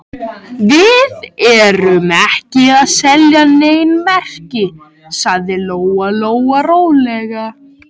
Við erum ekki að selja nein merki, sagði Lóa Lóa rólega.